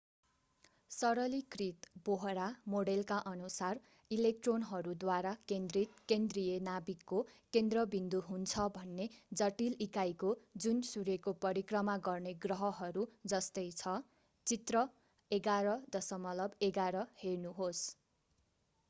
सरलीकृत बोहरा मोडेलकाअनुसार इलेक्ट्रोनहरू द्वारा केन्द्रित केन्द्रीय नाभिकको केन्द्रबिन्दु हुन्छ भन्ने जटिल इकाइहो जुन सूर्यको परिक्रमा गर्ने ग्रहहरू जस्तै छ चित्र 11.11 हेर्नुहोस्